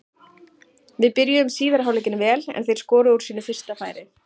Við byrjuðum síðari hálfleikinn vel en þeir skoruðu úr sínu fyrsta færi.